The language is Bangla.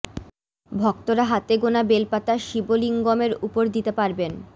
ভক্তরা হাতে গোনা বেল পাতা শিবলিঙ্গমের ওপর দিতে পারবেন